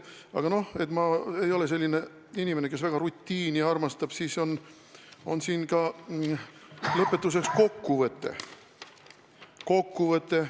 Aga ma ei ole selline inimene, kes väga rutiini armastab, ning siin on lõpus ka kokkuvõte.